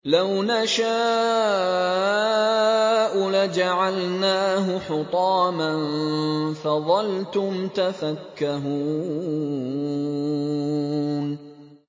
لَوْ نَشَاءُ لَجَعَلْنَاهُ حُطَامًا فَظَلْتُمْ تَفَكَّهُونَ